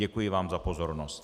Děkuji vám za pozornost.